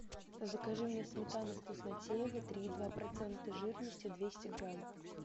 закажи мне сметану вкуснотеево три и два процента жирности двести грамм